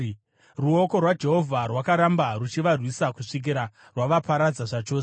Ruoko rwaJehovha rwakaramba ruchivarwisa kusvikira rwavaparadza zvachose.